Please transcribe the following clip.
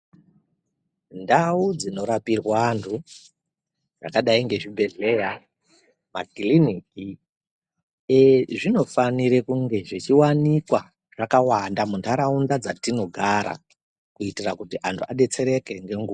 Ndau dzinorapirwa antu dzakadai nezvibhedhlera makiriniki ee zvinofanire kunge zvechiwanikwa zvakawanda muntaraunda dzatinogara kuitira kuti antu adetsereke ngenguwa.